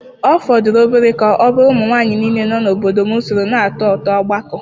Ọ fọdụrụ obere ka ọ bụrụ ụmụ nwanyị niile nọ n'obodo m soro na otu otú ọgbakọ.